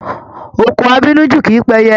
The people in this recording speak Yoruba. Òkò abínú jù kìí pẹyẹ.